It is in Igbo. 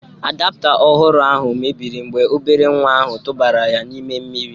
Adapta ọhụrụ ahụ mebiri mgbe obere nwa ahụ tụbara ya n'ime mmiri